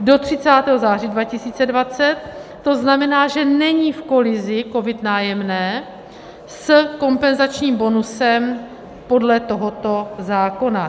do 30. září 2020, to znamená, že není v kolizi COVID - Nájemné s kompenzačním bonusem podle tohoto zákona.